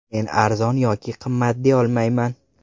Men arzon yoki qimmat deyolmayman.